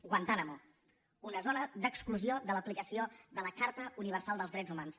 guantánamo una zona d’exclusió de l’aplicació de la carta universal dels drets humans